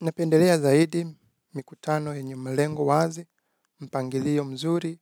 Napendelea zaidi mikutano yenye malengo wazi, mpangilio mzuri